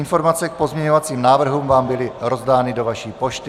Informace k pozměňovacím návrhům vám byly rozdány do vaší pošty.